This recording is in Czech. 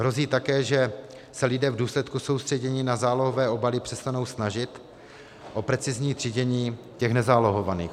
Hrozí také, že se lidé v důsledku soustředění na zálohové obaly přestanou snažit o precizní třídění těch nezálohovaných.